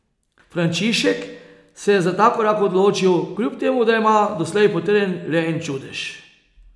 Frančišek se je za ta korak odločil, kljub temu da ima doslej potrjen le en čudež.